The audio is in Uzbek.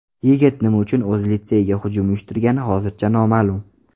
Yigit nima uchun o‘z litseyiga hujum uyushtirgani hozircha noma’lum.